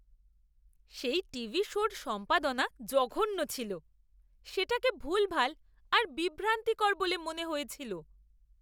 সেই টিভি শোর সম্পাদনা জঘন্য ছিল। সেটাকে ভুলভাল আর বিভ্রান্তিকর বলে মনে হয়েছিল।